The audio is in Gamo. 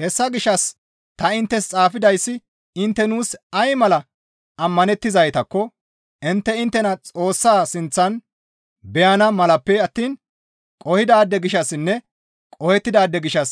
Hessa gishshas ta inttes xaafidayssi intte nuus ay mala ammanettizaytakko intte inttena Xoossa sinththan beyana malappe attiin qohidaade gishshassinne qohettidaade gishshas